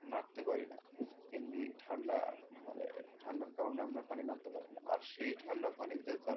নাড়তে পারি না এমনি ঠাণ্ডা মানে ঠাণ্ডার কারনে আমরা পানি নাড়তে পারি না আর সেই ঠাণ্ডা পানিতে তারা,